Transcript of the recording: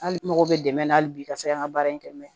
Hali n mago bɛ dɛmɛ na hali bi ka se an ka baara in kɛ mɛ